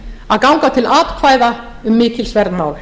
að ganga til atkvæða um mikilsverð mál